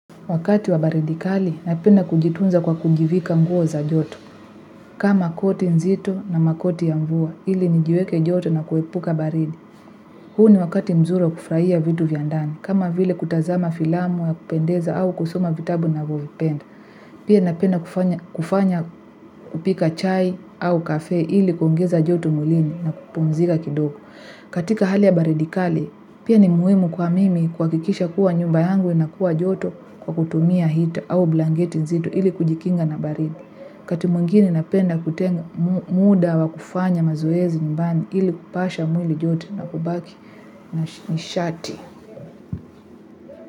Wakati wa baridikali, napenda kujitunza kwa kujivika nguo za joto. Kama koti nzito na makoti ya mvua, ili nijueke joto na kuepuka baridi. Huu ni wakati mzuri kufraia vitu vya ndani, kama vile kutazama filamu ya kupendeza au kusoma vitabu navyo vipenda. Pia napenda kufanya kupika chai au kafe ili kuongeza joto mwlini na kupumzika kidogo. Katika hali ya baridikali, pia ni muimu kwa mimi kwa kikisha kuwa nyuba yangu na kuwa joto kwa kutumia hita au blangeti zito ili kujikinga na baridi. Wakati mwingine napenda kutenga muda wa kufanya mazoezi nyumbani ili kupasha mwili joto na kubaki na nishati.